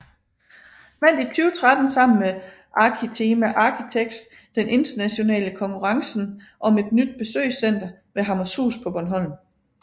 Vandt i 2013 sammen med Arkitema Architects den internationale konkurrencen om et nyt besøgscenter ved Hammershus på Bornholm